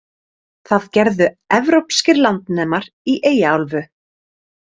Það gerðu Evrópskir landnemar í Eyjaálfu.